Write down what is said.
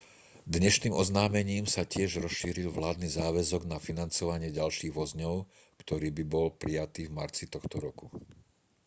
dnešným oznámením sa tiež rozšíril vládny záväzok na financovanie ďalších vozňov ktorý bol prijatý v marci tohto roku